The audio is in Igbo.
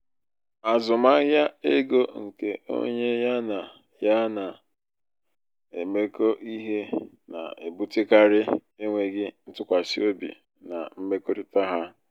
azụmahịa ego nke onye ya na ya na-emekọ ihe na-ebutekarị enweghị ntụkwasị obi na mmekọrịta ha.